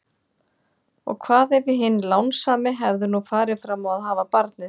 Og hvað ef hinn lánsami hefði nú farið fram á að hafa barnið?